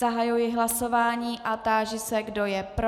Zahajuji hlasování a táži se, kdo je pro.